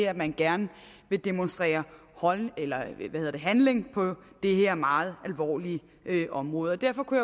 at man gerne vil demonstrere handlekraft på det her meget alvorlige område derfor kunne